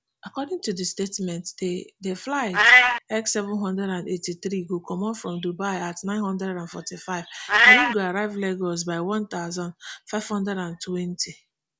according to di statement di di flight ekseven hundred and eighty-three go comot from dubai at nine hundred and forty-five and e go arrive lagos by one thousand, five hundred and twenty